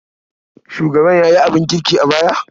Shugaban ya yi abin kirki a baya.